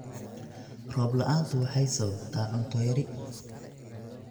Roob la'aantu waxay sababtaa cunto yari.